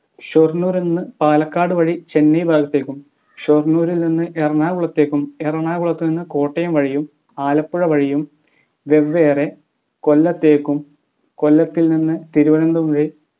ഷൊർണൂർനിന്ന് പാലക്കാട് വഴി ചെന്നൈ ഭാഗത്തേക്കും ഷൊർണൂരിൽ നിന്ന് എറണാകുളത്തേക്കും എറണാകുളത്തു നിന്ന് കോട്ടയം വഴിയും ആലപ്പുഴ വഴിയും വെവെറെ കൊല്ലത്തേക്കും കൊല്ലത്തിൽ നിന്ന് തിരുവനന്തപുരം